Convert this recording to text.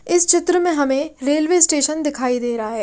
इस चित्र में हमें रेलवे स्टेशन दिखाई दे रहा है।